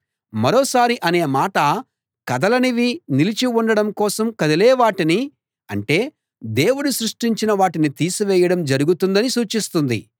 మరోసారి అనే మాట కదలనివి నిలిచి ఉండడం కోసం కదిలేవాటిని అంటే దేవుడు సృష్టించిన వాటిని తీసివేయడం జరుగుతుందని సూచిస్తుంది